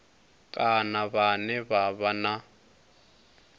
kana vhane vha vha na